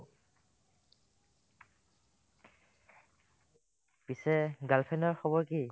পিছে girlfriend ৰ খবৰ কি ?